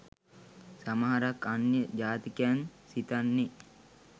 සමහරක් අන්‍ය ජාතිකයන්‍ සිතන්නේ